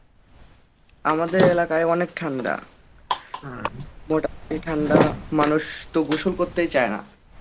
আমাদের এলাকায় অনেক ঠান্ডা, অ্যাঁ মোটামুটি ঠান্ডা মানুষ তো গোসল করতেই চায় না